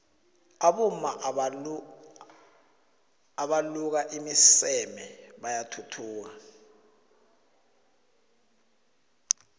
abomama abaluka iimiseme bayathuthuka